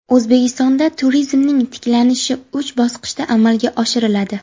O‘zbekistonda turizmning tiklanishi uch bosqichda amalga oshiriladi.